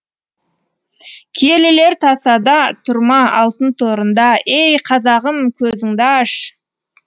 киелілер тасада тұр ма алтын торында ей қазағым көзіңді аш